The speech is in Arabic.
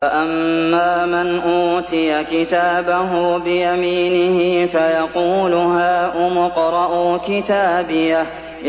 فَأَمَّا مَنْ أُوتِيَ كِتَابَهُ بِيَمِينِهِ فَيَقُولُ هَاؤُمُ اقْرَءُوا كِتَابِيَهْ